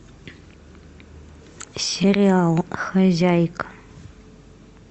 сериал хозяйка